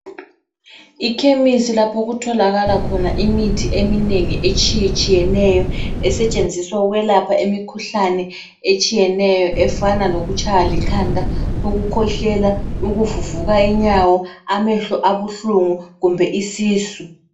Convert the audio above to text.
Ikhemisi lapho okutholakala khona imithi eminengi etshiyetshiyeneyo esetshenziswa ukwelapha imikhuhlane etshiyeneyo efana lokutshaywa likhanda, ukukhwehlela, ukuvuvuka inyawo ,amehlo abuhlungu kumbe isisu.